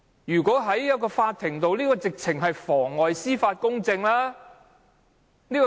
如果在法庭，他的行為是妨礙司法公正。